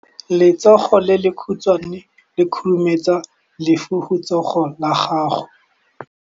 Letsogo le lekhutshwane le khurumetsa lesufutsogo la gago.